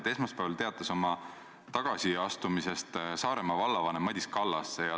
Esmaspäeval teatas oma tagasiastumisest Saaremaa vallavanem Madis Kallas.